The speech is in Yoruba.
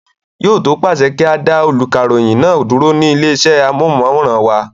Yóò tó pàṣẹ pé kí á dá olùkàròyìn náà dúró ní ilé iṣẹ́ amóhùnmáwòrán wa.